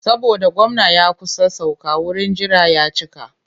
Saboda gwamna ya kusa sauka wurin jira ya cika.